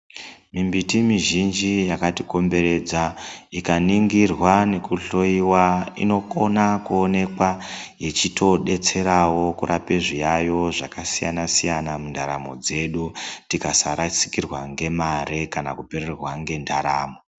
Mimbiti mizhinji yakatikomberedza ikaningirwa nekuhloiwa inokona kuonekwa ichitodetserawo kurape zviyayo zvakasiyana siyana mundaramo dzedu tikasarasikirwa ngemare kana kupererwa ngendaramo.